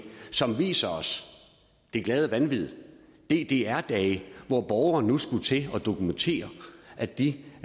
som viser det glade vanvid ddr dage hvor borgere nu skulle til at dokumentere at de